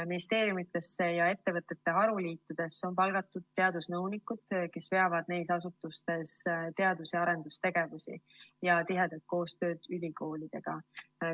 Ministeeriumidesse ja ettevõtete haruliitudesse on palgatud teadusnõunikud, kes veavad neis asutustes teadus‑ ja arendustegevusi ja korraldavad tihedat koostööd ülikoolidega.